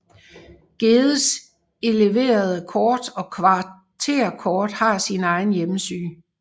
Geddes eleverede kort og kvarterkort har sin egen hjemmeside